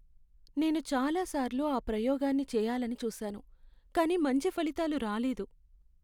నేను చాలాసార్లు ఆ ప్రయోగాన్నిచేయాలని చూసాను, కానీ మంచి ఫలితాలు రాలేదు.